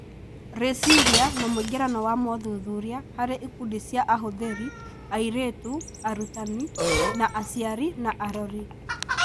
Rĩciria na mũingĩrano wa mothuthuria harĩ ikundi cia ahũthĩri, airĩtu, arutani , na aciari na arori.